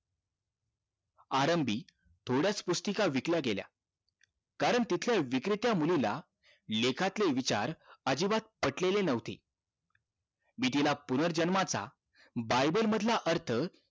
आरंभी थोड्याच पुस्तिका विकल्या गेल्या कारण तिथल्या विक्रेत्या मुलीला लेखातले विचार अजिबात पटलेले नव्हते मी तिला पुनर्जन्माचा बायबल मधला अर्थ